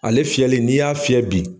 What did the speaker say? Ale fiyɛli, n'i y'a fiyɛ bi.